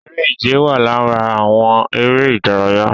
Eré ìje wà lára àwọn eré ìdárayá